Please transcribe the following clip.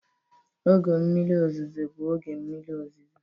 Oge mmiri ọzụzụ bụ oge mmiri ọzụzụ.